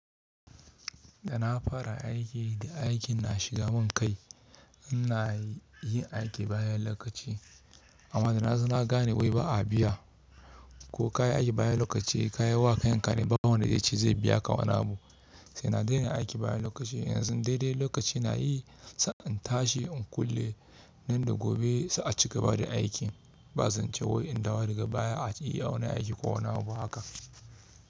Da na fara aiki da aikin na shiga mun kai, ina yin aiki bayan lokaci. Amma da na gane wai ba a biya ko ka yi aiki bayan lokaci, ka yi wa kayan ka ne, ba wanda ya ce zai biya ka wani abu. Sai na daina aiki bayan lokaci. Yanzu dai dai lokaci na yi sa in tashi in kulle nan da gobe su a cigaba da aikin. Ba zan ce wai in dawo daga baya a yi wani aiki ko wani abu haka.